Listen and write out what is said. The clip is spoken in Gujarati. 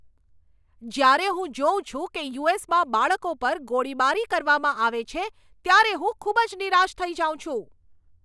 જ્યારે હું જોઉં છું કે યુ.એસ.માં બાળકો પર ગોળીબારી કરવામાં આવે છે, ત્યારે હું ખૂબ જ નિરાશ થઈ જાઉં છું.